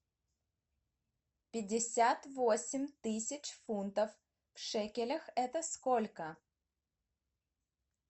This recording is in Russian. пятьдесят восемь тысяч фунтов в шекелях это сколько